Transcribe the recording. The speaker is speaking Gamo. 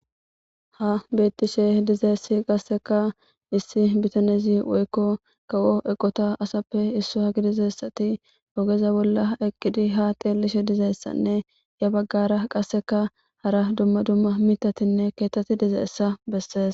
ha bettishe dizeessi qasseka issi bitanezi woykko kawo eqota asappe issu hadizessati ogeza bolla eqqidhi ha teellishe dizeessanne ya baggara qasseka hara dumma dumma mitatinne keettati dizeessa bessees